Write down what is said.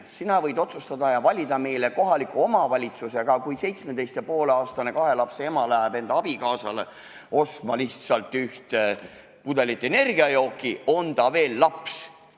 Sina võid otsustada ja valida meile kohaliku omavalitsuse, aga kui 17 ja poole aastane kahe lapse ema läheb enda abikaasale ostma lihtsalt ühte pudelit energiajooki, siis on ta veel laps.